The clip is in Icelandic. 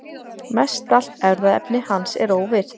Mestallt erfðaefni hans er óvirkt.